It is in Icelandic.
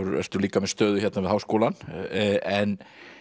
ertu líka með stöðu hérna við Háskólann en